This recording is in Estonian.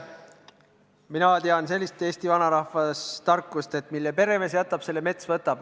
Mina tean sellist eesti vanarahva tarkust, et mis peremees jätab, selle mets võtab.